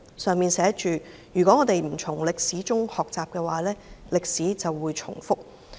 牆上寫着"如果我們不從歷史中學習，歷史便會重複"。